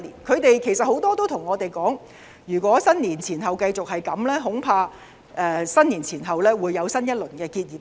很多人向我們表示，如果農曆年前後繼續這樣，恐怕農曆新年後會出現新一輪結業潮。